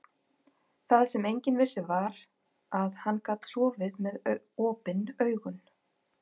Það sem enginn vissi var, að hann gat sofið með OPIN AUGUN.